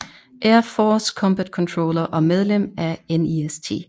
Air Force Combat Controller og medlem af NEST